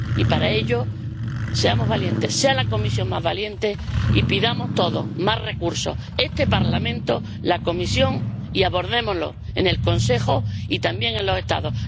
Y, para ello, seamos valientes, sea la Comisión más valiente, y pidamos todos más recursos —este Parlamento, la Comisión—, y abordémoslo en el Consejo y también en los Estados.